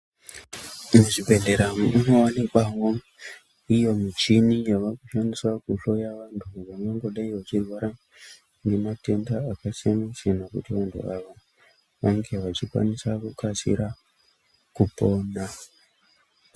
Muzvibhehlera munowanikwawo iyo michini yavakushandiswa kuhloya vantu vangangodai vachirwara ngematenda akasiyana-siyana kuti vantu ava vange vachikwanisa kukasira kupona.